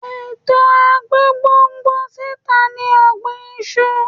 Ètò agbégbòǹgbò síta ni ọ̀gbìn iṣu.